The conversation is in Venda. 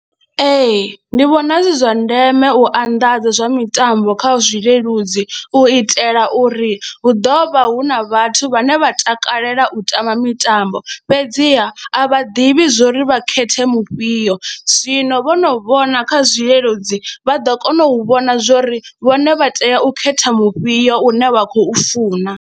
Ee, ndi vhona zwi zwa ndeme u anḓadza zwa mitambo kha zwileludzi u itela uri hu ḓo vha hu na vhathu vhane vha takalela u tamba mitambo fhedziha a vha ḓivhi zwo ri vha khethe mu fhio, zwino vho no vhona kha zwileludzi vha ḓo kona u vhona zwo ri vhone vha tea u khetha mufhio une vha khou funa.